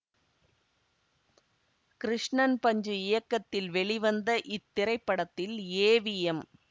கிருஷ்ணன் பஞ்சு இயக்கத்தில் வெளிவந்த இத்திரைப்படத்தில் ஏ வி எம்